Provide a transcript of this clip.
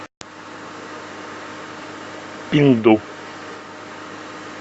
пинду